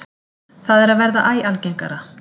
Það er að verða æ algengara.